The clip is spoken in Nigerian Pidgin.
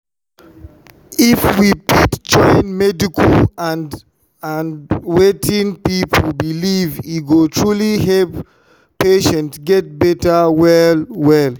if we fit join medical care and wetin people believe e go truly help patients get better well well.